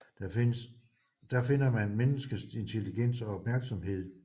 Der finder man menneskets intelligens og opmærksomhed